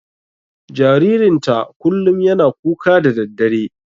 Jaririn ta kullum yana kuka da daddare.